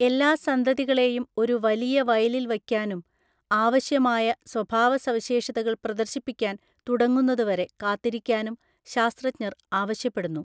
എല്ലാ സന്തതികളെയും ഒരു വലിയ വയലിൽ വയ്ക്കാനും ആവശ്യമായ സ്വഭാവസവിശേഷതകൾ പ്രദർശിപ്പിക്കാൻ തുടങ്ങുന്നതുവരെ കാത്തിരിക്കാനും ശാസ്ത്രജ്ഞർ ആവശ്യപ്പെടുന്നു.